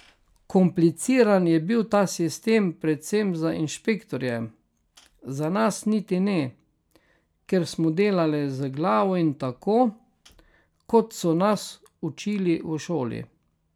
Kompliciran je bil ta sistem predvsem za inšpektorje, za nas niti ne, ker smo delali z glavo in tako, kot so nas učili v šoli.